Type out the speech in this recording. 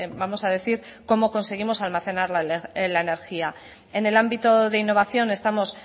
vamos a decir cómo conseguimos almacenar la energía en el ámbito de innovación estamos